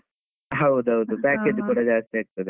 ಹೌದ್ ಹೌದು, package ಕೂಡ ಜಾಸ್ತಿ ಆಗ್ತದೆ.